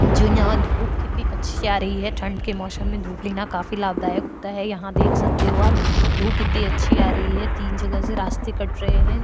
जो यहाँ धोप कितनी अच्छी आ रही है ठण्ड के मौसम में धुप लेना काफी लाभदायक होता है यहाँ देख सकते हो आप धुप इतनी अच्छी आ रही है तीन जगह से रास्ते कट रहे है।